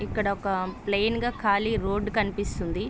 ఇక్కడ ఒక ప్లైన్ గా ఖాళీగా రోడ్డు కనిపిస్తోంది.